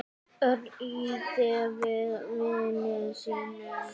Örn ýtti við vini sínum.